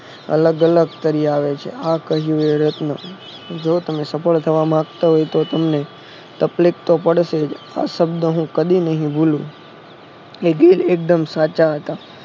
અલગ અલગ તરી આવે છે જો તમે સફળ થવા માંગતા હોય તકલીફ તો પડશે હુંઆ શબ્દ કદી નહિ ભૂલું એ દિલ એકદમ સાચા હતા